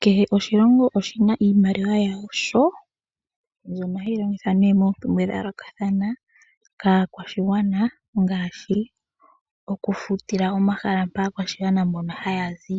Kehe oshilongo oshina iimaliwa yasho mbyono hayi longithwa nee mo mpumbwe dhayoloka kaakwashigwana ngaashi okufutila omahala mpa aakwashigwana mbono haya zi